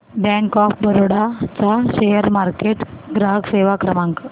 bank of Baroda चा share market ग्राहक सेवा क्रमांक